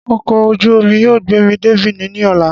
Ọkọ̀ ojú omi yóò gbé mi dé Benin ní ọ̀la